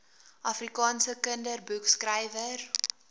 afrikaanse kinderboekskrywer